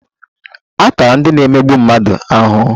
A tara ndị na-emegbu mmadụ ahụhụ?